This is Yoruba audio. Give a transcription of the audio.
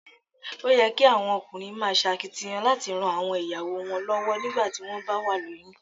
Ó yẹ kí àwọn ọkùnrin máa ṣakitiyan láti ran àwọn ìyàwó wọn lọ́wọ́ nígbà tí wón bá wà lóyún.